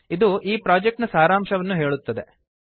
ಇದು ಈ ಪ್ರಾಜೆಕ್ಟ್ ನ ಸಾರಾಂಶವನ್ನು ಹೇಳುತ್ತದೆ